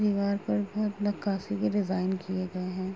दीवार पर बहुत नक्काशी के डिजाइन किए गए हैं।